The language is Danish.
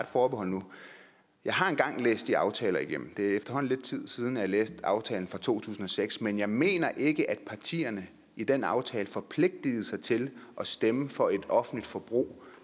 forbehold nu jeg har engang læst de aftaler igennem det er efterhånden lidt tid siden at jeg læste aftalen for to tusind og seks men jeg mener ikke at partierne i den aftale forpligtigede sig til at stemme for et offentligt forbrug